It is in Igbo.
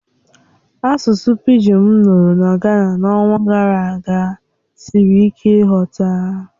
Asụsụ pịgịn m nụrụ na Gana n'ọnwa gara aga siri ike nghọta